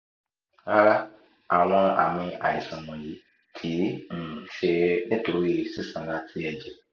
rara awọn aami aiṣan wọnyi kii um ṣe nitori sisanra ti ẹjẹ